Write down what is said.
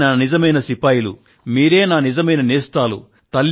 మీరే నా నిజమైన నేస్తాలు